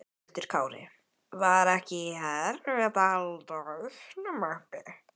Höskuldur Kári: Var ekki erfitt að halda hausnum uppi?